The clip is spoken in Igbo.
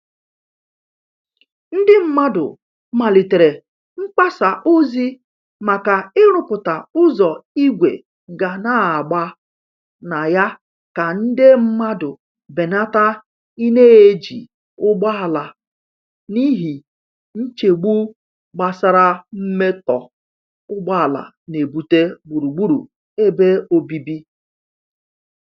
Ndị mmadụ malitere mgbasa ozi maka iruputa ụzọ igwe ga n'agba na ya ka nde mmandu benata i n'eji ụgbọala n'ihi nchegbu gbasara mmetọ ugboala nebute gburugburu ebe obibi.